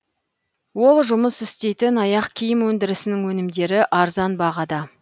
ол жұмыс істейтін аяқ киім өндірісінің өнімдері арзан бағада